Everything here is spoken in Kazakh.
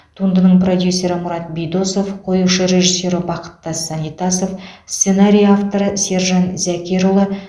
туындының продюсері мұрат бидосов қоюшы режиссері бақыттас санитасов сценарий авторы сержан зәкерұлы